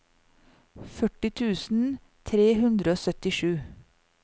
førti tusen tre hundre og syttisju